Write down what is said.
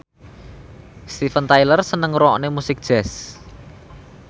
Steven Tyler seneng ngrungokne musik jazz